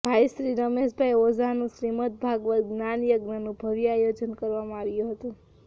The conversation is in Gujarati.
ભાઈશ્રી રમેશભાઈ ઓઝાનું શ્રીમદ્ ભાગવત જ્ઞાનયજ્ઞનું ભવ્ય આયોજન કરવામાં આવ્યું હતું